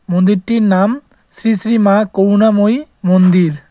মন্দিরটির নাম শ্রী শ্রী মা করুণাময়ী মন্দির।